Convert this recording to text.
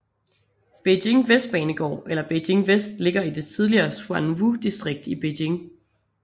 Beijing Vestbanebanegård eller Beijing Vest ligger i det tidligere Xuanwudistrikt i Beijing